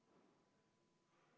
V a h e a e g